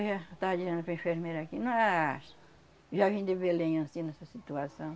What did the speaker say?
Eu já estava dizendo para a enfermeira aqui, mas... Já vim de Belém anssim nessa situação.